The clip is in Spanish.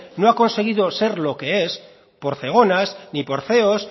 no ha conseguido ser lo que es por zegona ni por ceos